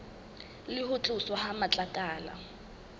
le ho tloswa ha matlakala